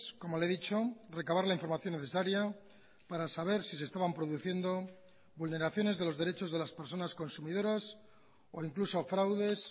como le he dicho recabar la información necesaria para saber si se estaban produciendo vulneraciones de los derechos de las personas consumidoras o incluso fraudes